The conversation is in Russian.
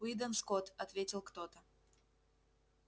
уидон скотт ответил кто то